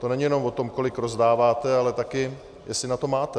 To není jenom o tom, kolik rozdáváte, ale také jestli na to máte.